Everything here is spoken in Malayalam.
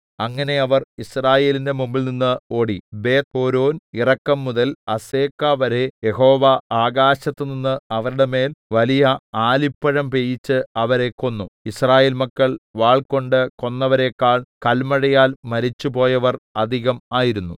അങ്ങനെ അവർ യിസ്രായേലിന്റെ മുമ്പിൽനിന്ന് ഓടി ബേത്ത്ഹോരോൻ ഇറക്കം മുതൽ അസേക്കവരെ യഹോവ ആകാശത്തിൽനിന്ന് അവരുടെ മേൽ വലിയ ആലിപ്പഴം പെയ്യിച്ച് അവരെ കൊന്നു യിസ്രായേൽ മക്കൾ വാൾകൊണ്ട് കൊന്നവരെക്കാൾ കല്മഴയാൽ മരിച്ചുപോയവർ അധികം ആയിരുന്നു